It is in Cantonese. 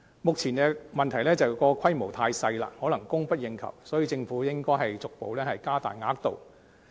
目前的問題是規模太小，可能供不應求，所以政府應逐步加大額度。